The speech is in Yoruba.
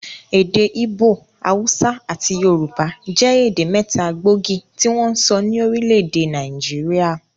Èdè ìgbò, haúsá àti yorùbá jẹ́ èdè mẹ́ta gbóògì tí wọ́n ń sọ ní orílẹ̀-èdè Nàìjíríà.